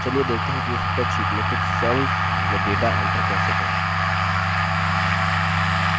चलिए देखते हैं कि spreadsheet में कुछ cells में data enter कैसे करें